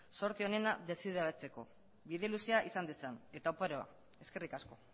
zorte onena desiratzeko bide luze izan dezan eta oparoa eskerrik asko